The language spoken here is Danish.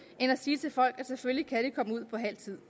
end at sige til folk at selvfølgelig kan de komme ud på halv tid